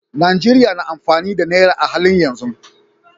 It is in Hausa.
Najeriya na amfani da Naira a halin yanzu.